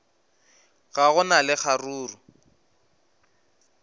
ga go na le kgaruru